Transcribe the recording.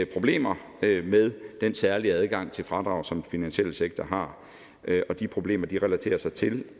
problemer med den særlige adgang til fradrag som den finansielle sektor har og de problemer relaterer sig til